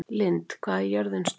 Lynd, hvað er jörðin stór?